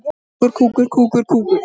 Kemur spáin þér á óvart?